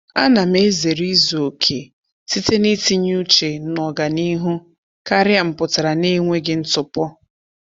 A na m ezere izuokè site n'itinye uche n'ọganihu karịa mpụtara n'enweghị ntụpọ.